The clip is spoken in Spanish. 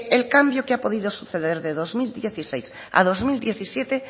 el cambio que ha podido suceder de dos mil dieciséis a dos mil diecisiete